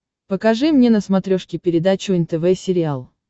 покажи мне на смотрешке передачу нтв сериал